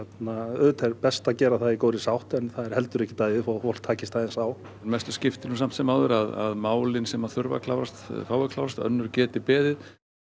auðvitað er best að gera það í góðri sátt en það er heldur ekkert að því þótt fólk takist aðeins á mestu skiptir nú samt sem áður að málin sem að þurfa að klárast fái að klárast önnur geti beðið